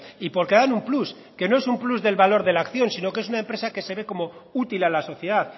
y porque dan un plus que no es un plus del valor de la acción sino que es una empresa que se ve como útil a la sociedad